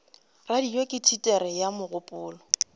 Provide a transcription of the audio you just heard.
radio ke teatere ya mogopolo